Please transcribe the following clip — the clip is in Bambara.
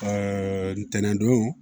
ntɛnɛndon